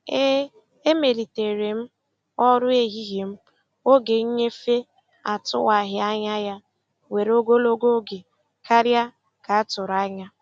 E emelitere m ọrụ ehihie m oge nnyefe atụwaghị anya ya were ogologo oge karịa ka a tụrụ anya.